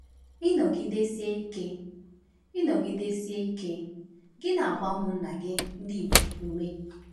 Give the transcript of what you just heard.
Ịnọgidesi ike Ịnọgidesi ike gị na-agba ụmụnna gị ndị Igbo ume.